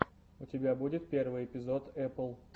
у тебя будет первый эпизод эпл